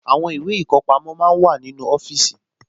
Àwọn ìwé ìkọpamọ́ máa ń wà nínú ọfíìsì